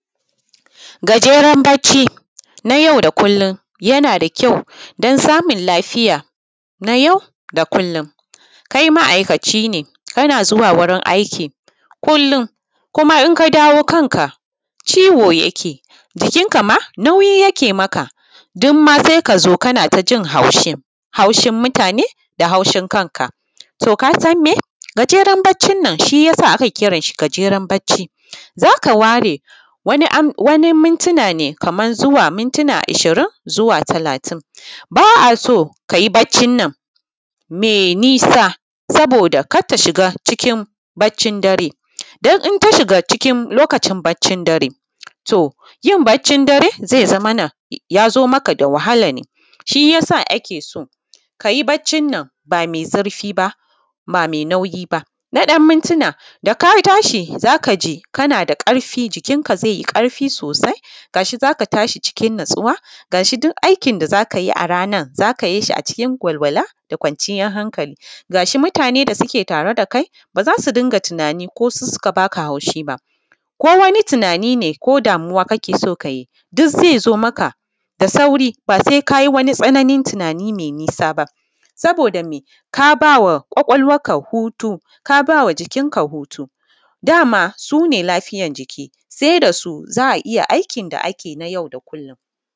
Gajeren bacci, na yau da kullun yana da kyau, don samun lafiya, na yau da kullun. Kai ma’aikacine, kana zuwa wurin aiki kullun, kuma inka dawo kanka ciwo yake, jikin kama nauyi: yake maka. Don ma sai kazo ka jin haushi, haushin mutane da haushin kanka. To kasan me, gajeren baccin nan shiyasa ake kiransa gajeren bacci. Zaka ware wani mintina ne, kamar minti ishirin zuwa talatin. ba’a so kayi baccin nan me nisa. Saboda kar ta shiga cikin baccin dare. Don in tashiga cikin lokacin baccin dare to yin baccin dare, zai zamana yazo maka da wahala. Shiyasa ake so, kayi baccin nan ba me zurfi ba ba me nauyi ba. na ɗan mintina da katashi zakaji kanada ƙarfi jikin ka zaiyi ƙarfi sosai Gashi zaka tashi: cikin natsuwa. Gashi duk aikin da zaka yishi a ranar, zaka yishi: acikin walwala da kʷanciyar hankali. kuma mutane da suke tare da kai, ba zasu dinga tunanin ko suka baka haushi ba. Ko wani tunani ne ko damuwa kake so kayi, duk zai zo maka da sauri, ba sai kaji wani tsananin tunani: mai nisa ba. Sabo:da me kabawa kʷakʷalwarka hutu, kabawa jikin ka hutu, dama sune lafiyan jiki: Se dasu za’a iya aikin da ake na jau da kullun.